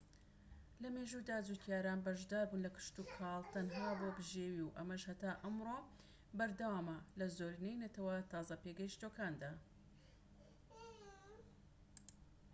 لەمێژوودا جوتیاران بەشداربوون لە کشتوکاڵ تەنها بۆ بژێوی و ئەمەش هەتا ئەمڕۆ بەردەوامە لە زۆرینەی نەتەوە تازە پێگەشتووەکاندا